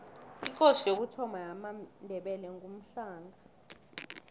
ikosi yokuthoma yamandebele ngumhlanga